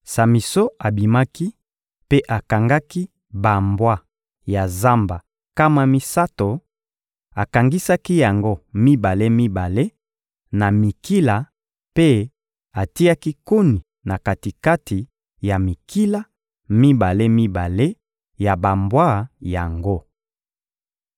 Samison abimaki mpe akangaki bambwa ya zamba nkama misato, akangisaki yango mibale-mibale na mikila mpe atiaki koni na kati-kati ya mikila mibale-mibale ya bambwa yango.